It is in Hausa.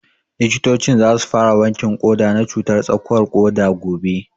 Likitocin za su fara wankin ƙoda na cutar tsakuwar ƙoda gobe